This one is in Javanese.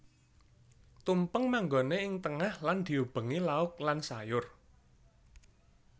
Tumpeng manggoné ing tengah lan diubengi lauk lan sayur